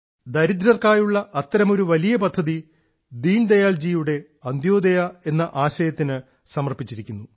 ദരിദ്രർക്കായുള്ള അത്തരമൊരു വലിയ പദ്ധതി ശ്രീ ദീൻദയാലിന്റെ അന്ത്യോദയ എന്ന ആശയത്തിന് സമർപ്പിച്ചിരിക്കുന്നു